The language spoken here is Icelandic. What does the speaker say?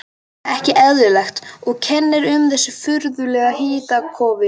Ekki eðlilegt, og kennir um þessu furðulega hitakófi.